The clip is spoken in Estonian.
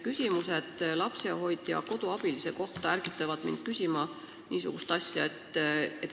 Küsimused lapsehoidja-koduabilise kohta ärgitavad mind küsima niisugust asja.